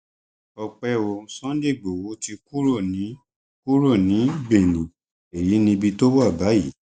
ọpẹ o sunday igbodò ti kúrò ní kúrò ní benin èyí níbi tó wà báyìí